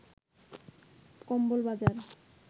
কম্বল বাজার